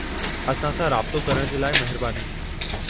असां सां राब्तो करणु जे लाइ महिरबानी।